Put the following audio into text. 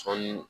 Sɔɔni